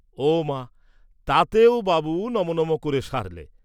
ওমা তাতেও বাবু নমো নমো ক’রে সারলে।